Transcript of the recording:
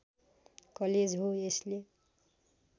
college हो यसले